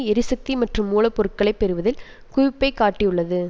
எரிசக்தி மற்றும் மூல பொருட்களை பெறுவதில் குவிப்பை காட்டியுள்ளது